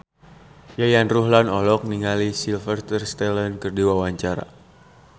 Yayan Ruhlan olohok ningali Sylvester Stallone keur diwawancara